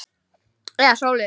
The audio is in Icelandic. Eða sólin?